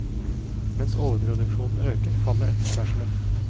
Mens overproduksjonen øker, faller etterspørselen.